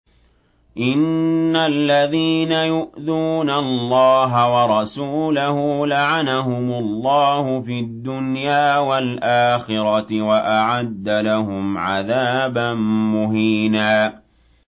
إِنَّ الَّذِينَ يُؤْذُونَ اللَّهَ وَرَسُولَهُ لَعَنَهُمُ اللَّهُ فِي الدُّنْيَا وَالْآخِرَةِ وَأَعَدَّ لَهُمْ عَذَابًا مُّهِينًا